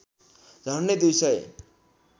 झन्‍डै दुई सय